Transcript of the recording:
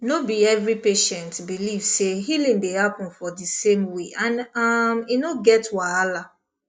no be every patient believe say healing dey happen for di same way and um e no get wahala